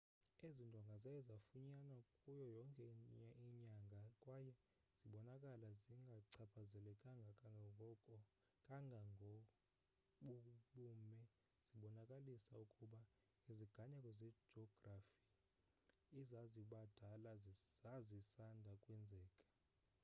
ezi ndonga zaye zafunyanwa kuyo yonke inyanga kwaye zibonakala zingachaphazelekanga kangako bubume zibonakalisa ukuba iziganeko zejografi ezazibadala zazisanda kwenzeka